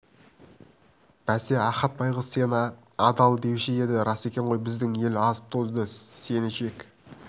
бәсе ахат байғұс сені адал деуші еді рас екен ғой біздің ел азып-тозды деп сені жек